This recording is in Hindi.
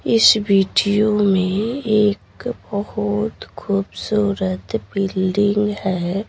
इस वीडियो में एक बहुत खूबसूरत बिल्डिंग --